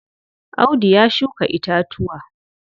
Audu ya shuka itatuwa.